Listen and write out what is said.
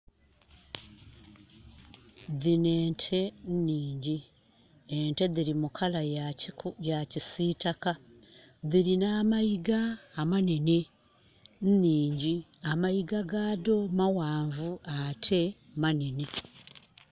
Dhino ente nnhingi. Ente diri mu color ya kisitaka. Dhirina amayiga amanene. Nnhingi, amayiga ga dho mawanvu ate manene